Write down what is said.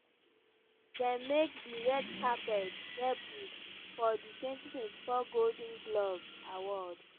dem make dia red carpet debut for di 2024 golden globes awards.